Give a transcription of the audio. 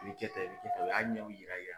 I bi kɛ tan i bi kɛ tan o y'a ɲɛw yira i ya